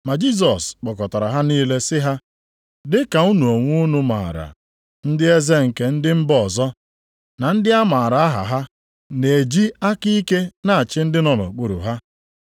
Ma Jisọs kpọkọtara ha niile sị ha, “Dị ka unu onwe unu maara, ndị eze nke ndị mba ọzọ, na ndị a maara aha ha, na-eji aka ike na-achị ndị nọ nʼokpuru ha.